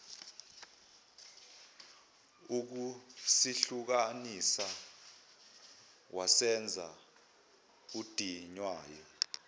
ukusihlukanisa wazenza odinwayo